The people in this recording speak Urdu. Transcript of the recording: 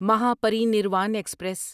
مہاپرینیروان ایکسپریس